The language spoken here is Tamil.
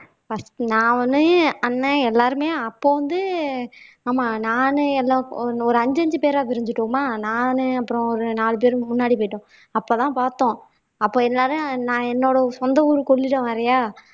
first நான் ஒண்ணு அண்ணன் எல்லாருமே அப்போ வந்து ஆமா நானு எல்லா ஒரு அஞ்சு அஞ்சு பேரா பிரிஞ்சுட்டோமா நானு அப்புறம் ஒரு நாலு பேரு முன்னாடி போயிட்டோம் அப்பதான் பாத்தோம் அப்ப எல்லாரும் நான் என்னோட சொந்த ஊரு கொள்ளிடம் வேறயா